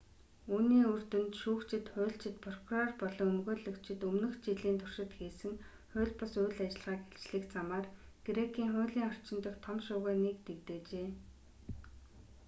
үүний үр дүнд шүүгчид хуульчид прокурор болон өмгөөлөгчид өмнөх жилийн туршид хийсэн хууль бус үйл ажиллагааг илчлэх замаар грекийн хуулийн орчин дахь том шуугианыг дэгдээжээ